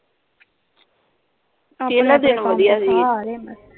ਪਹਿਲੇ ਦਿਨ ਵਧੀਆ ਸੀਗੇ .